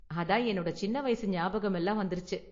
அதான் என்னோட சின்ன வயசு ஞாபகம் எல்லாம் வந்திருச்சு.